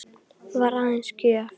Var aðeins gjöf.